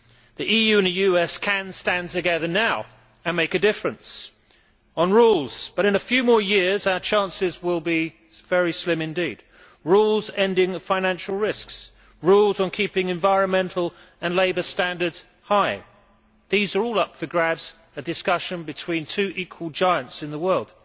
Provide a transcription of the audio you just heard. The EU and the US can stand together now and make a difference on rules, but in a few more years our chances will be very slim indeed. Rules ending financial risks and rules on keeping environmental and labour standards high are all up for grabs in a discussion between two equal giants in the world.